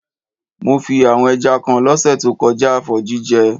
Mo fí àwon ẹja kan lọ́sẹ̀ to kojá for jíjẹ